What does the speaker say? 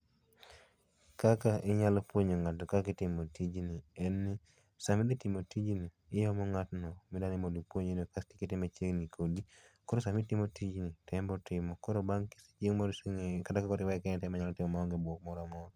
Kaka inyalo puonjo ng'ato kaka itimo tijni en ni sama idhi timo tijni, imomo ng'atno midwani mondo ipuonji kaito ikete machiegni kodi koro sama itimo tijni to en be otimo koro bang' chieng' moro kosengeyo kata ka koro iweye kende onyalo timo maonge buok moro amora